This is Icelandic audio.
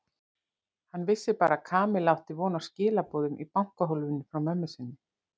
Hann vissi bara að Kamilla átti von á skilaboðum í bankahólfinu frá mömmu sinni.